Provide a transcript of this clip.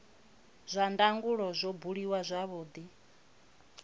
zwa ndangulo zwo buliwa zwavhudi